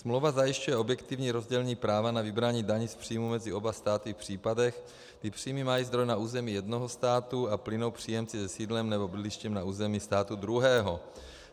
Smlouva zajišťuje objektivní rozdělení práva na vybrání daní z příjmu mezi oba státy v případech, kdy příjmy mají zdroj na území jednoho státu a plynou příjemci se sídlem nebo bydlištěm na území státu druhého.